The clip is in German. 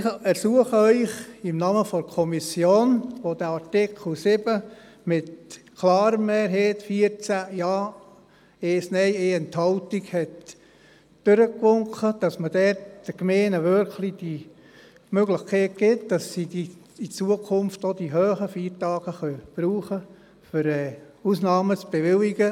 Ich ersuche Sie im Namen der Kommission, die den Artikel 7 mit der klaren Mehrheit von 14 Ja, 1 Nein und 1 Enthaltung durchgewinkt hat, dass man den Gemeinden die Möglichkeit wirklich gibt, in Zukunft auch die hohen Feiertage für die Bewilligung von Ausnahmen verwenden zu können.